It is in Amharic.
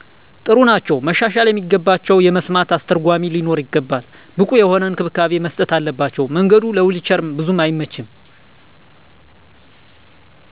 ጥሩ ናቸዉ። ማሻሻል የሚገባቸዉ የመስማት አስተርጎሚ ሊኖር ይገባል። ብቁ የሆነ እንክብካቤ መስጠት አለባቸዉ። መንገዱ ለዊንቸር ቡዙም አይመችም።